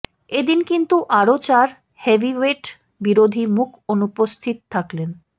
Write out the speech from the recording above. এদিন কিন্তু আরও চার হেভিওয়েট বিরোধী মুখ অনুপস্থিত থাকলেন